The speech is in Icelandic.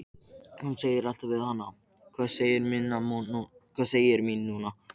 Hann sagði alltaf við hana: Hvað segir mín núna?